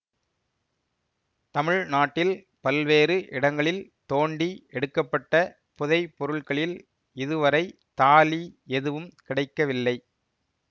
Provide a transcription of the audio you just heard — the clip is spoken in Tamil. தமிழ்நாட்டில் பல்வேறு இடங்களில் தோண்டி எடுக்க பட்ட புதைபொருள்களில் இதுவரை தாலி எதுவும் கிடைக்கவில்லை